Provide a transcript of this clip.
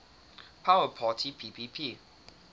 power parity ppp